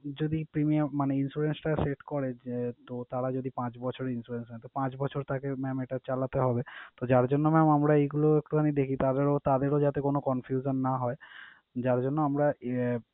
যদি premium মানে insurance টা set করে যে তো তাঁরা যদি পাঁচ বছরের insurance নেয়, তো পাঁচ বছর তাকে mam এটা চালাতে হবে। তো যার জন্য mam আমরা এইগুলো একটু আমি দেখি তাঁদেরও তাঁদেরও যাতে কোন confusion না হয়। যার জন্য আমরা আহ,